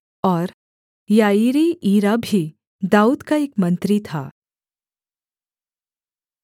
और याईरी ईरा भी दाऊद का एक मंत्री था